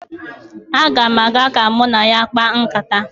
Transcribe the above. Aga m aga ka mụ na ya kpaa nkata